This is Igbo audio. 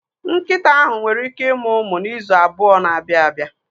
Nkịta ahụ nwere ike ịmụ ụmụ n'izu abụọ na-abịa abịa.